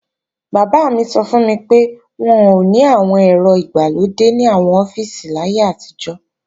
Bàbá mi sọ fún mi pé, wọn ò ní àwọn ẹ̀rọ ìgbàlódé ní àwọn ọ́fíìsì láyé àtijọ́